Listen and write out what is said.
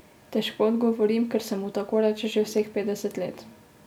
Težko odgovorim, ker se mu tako reče že vseh petdeset let.